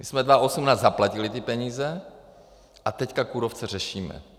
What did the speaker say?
My jsme 2018 zaplatili ty peníze a teď kůrovce řešíme.